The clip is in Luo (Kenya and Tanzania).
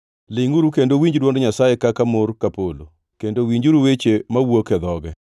Lingʼuru kendo uwinj dwond Nyasaye kaka mor ka polo, kendo winjuru weche mawuok e dhoge.